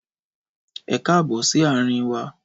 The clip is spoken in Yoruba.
Ẹkáàbọ̀ si àrin wa